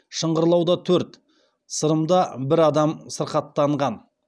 шыңғырлауда төрт сырымда бір адам сырқаттанған